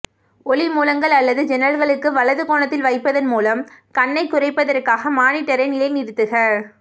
ஒளி மூலங்கள் அல்லது ஜன்னல்களுக்கு வலது கோணத்தில் வைப்பதன் மூலம் கண்ணைக் குறைப்பதற்காக மானிட்டரை நிலைநிறுத்துக